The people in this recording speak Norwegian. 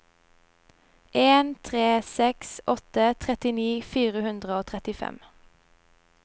en tre seks åtte trettini fire hundre og trettifem